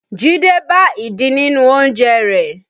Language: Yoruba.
Jide bá ìdin nínú oúnjẹ rẹ̀